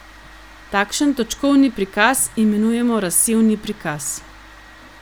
Takšen točkovni prikaz imenujemo razsevni prikaz.